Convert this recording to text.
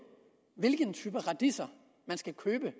hvilke typer radiser man skal købe